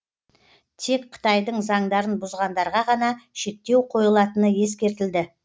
тек қытайдың заңдарын бұзғандарға ғана шектеу қойылатыны ескертілді